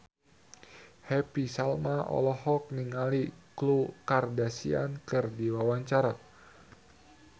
Happy Salma olohok ningali Khloe Kardashian keur diwawancara